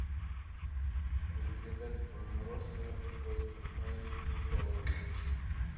заказать мороженое от компании кока кола